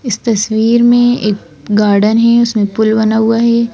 इस तस्वीर में एक गार्डन है उसमें पुल बना हुआ है।